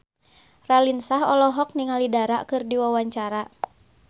Raline Shah olohok ningali Dara keur diwawancara